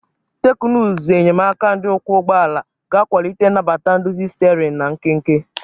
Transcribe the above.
Teknụzụ enyemaka ndị ọkwọ ụgbọ ala ga akwalite nnabata nduzi sterin na nkenke.